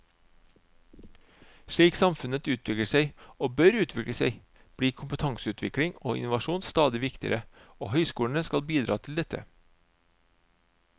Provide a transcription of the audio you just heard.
Slik samfunnet utvikler seg, og bør utvikle seg, blir kompetanseutvikling og innovasjon stadig viktigere, og høyskolene skal bidra til dette.